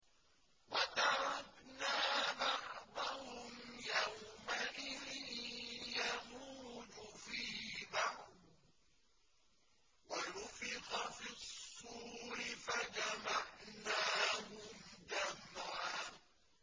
۞ وَتَرَكْنَا بَعْضَهُمْ يَوْمَئِذٍ يَمُوجُ فِي بَعْضٍ ۖ وَنُفِخَ فِي الصُّورِ فَجَمَعْنَاهُمْ جَمْعًا